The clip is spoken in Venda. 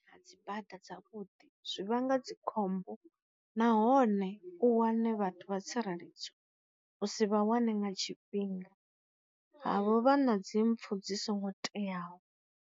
A dzibada dzavhuḓi zwi vhanga dzikhombo nahone u wane vhathu vha tsireledzo u si vha wane nga tshifhinga, havho vha na dzi mpfu dzi songo teaho.